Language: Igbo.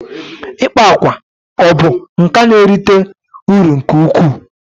ikpa akwa ọ bụ nka na-erite uru nke ukwuu?